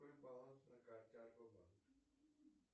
какой баланс на карте альфа банк